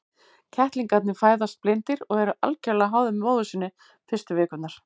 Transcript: Kettlingarnir fæðast blindir og eru algjörlega háðir móður sinni fyrstu vikurnar.